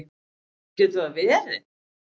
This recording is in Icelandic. Getur það verið?